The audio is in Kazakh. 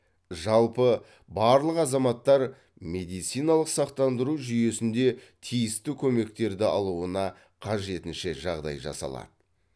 жалпы барлық азаматтар медициналық сақтандыру жүйесінде тиісті көмектерді алуына қажетінше жағдай жасалады